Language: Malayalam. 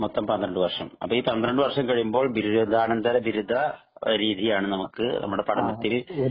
മൊത്തം പന്ത്രണ്ടു വര്‍ഷം. അപ്പോ ഈ പന്ത്രണ്ടു വര്‍ഷം കഴിയുമ്പോള്‍ ബിരുദാനന്തരബിരുദ രീതിയാണ്‌ നമുക്ക് നമ്മുടെ പഠനത്തിനു